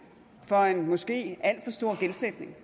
for en måske alt for stor gældsætning